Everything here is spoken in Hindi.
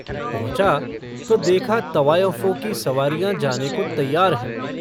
पहुँचा तो देखा तवायफों की सवारियाँ जाने को तैयार हैं।